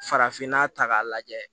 Farafinna ta k'a lajɛ